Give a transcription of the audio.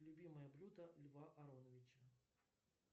любимое блюдо льва ароновича